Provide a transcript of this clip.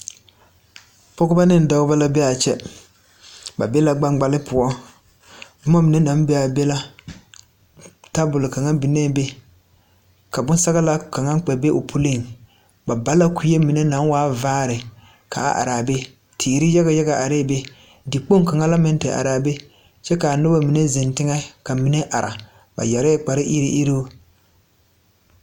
Pɔgebɔ neŋ dɔbɔ la bee aa kyɛ ba be la gbaŋgbale poɔ bomma mine naŋ bee aa be la tabol kaŋa binee be ka bonsɔglaa kaŋa kpɛ be o puliŋ ba ba la kuee mine naŋ waa vaare kaa araa be teere yaga yaga areɛɛ be de Kpoŋ kaŋa la meŋ te araa be kyɛ kaa nobɔ mine zeŋ teŋɛ ka mine are ba yɛrɛɛ kparre iruŋ iruŋ.